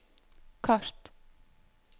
kart